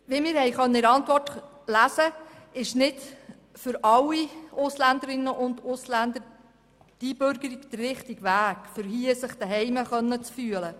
Wie wir in der Antwort lesen konnten, ist nicht für alle Ausländerinnen und Ausländer die Einbürgerung der richtige Weg, um sich hier zuhause fühlen zu können.